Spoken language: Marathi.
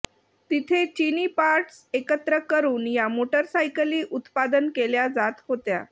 तिथे चिनी पार्टस एकत्र करून या मोटारसायकली उत्पादन केल्या जात होत्या